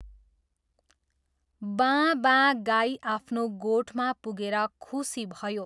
बाँऽ बाँऽ गाई आफ्नो गोठमा पुगेर खुसी भयो।